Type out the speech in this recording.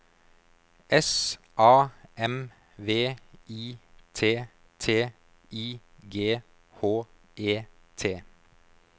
S A M V I T T I G H E T